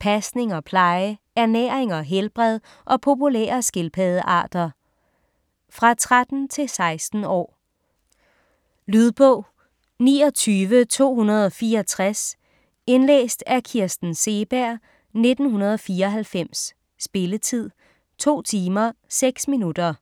pasning og pleje, ernæring og helbred og populære skildpaddearter. Fra 13-16 år. Lydbog 29264 Indlæst af Kirsten Seeberg, 1994. Spilletid: 2 timer, 6 minutter.